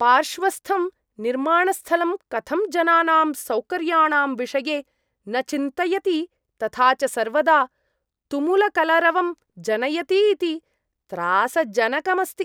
पार्श्वस्थं निर्माणस्थलं कथं जनानाम् सौकर्याणां विषये न चिन्तयति तथा च सर्वदा तुमुलकलरवं जनयति इति त्रासजनकम् अस्ति।